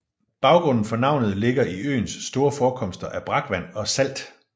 Baggrunden for navnet ligger i øens store forekomster af brakvand og salt